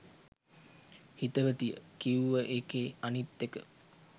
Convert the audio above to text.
හිතවතිය කිව්ව එකේ අනිත් එක